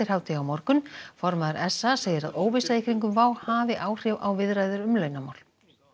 hádegi á morgun formaður s a segir að óvissa í kringum WOW hafi áhrif á viðræður um launamál